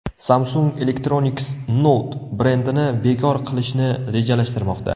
Samsung Electronics Note brendini bekor qilishni rejalashtirmoqda.